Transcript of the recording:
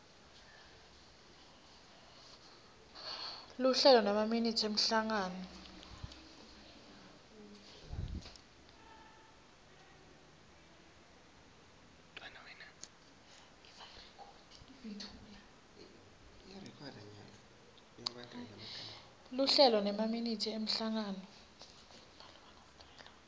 luhlelo nemaminithi emhlangano